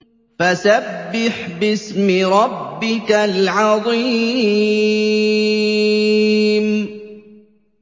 فَسَبِّحْ بِاسْمِ رَبِّكَ الْعَظِيمِ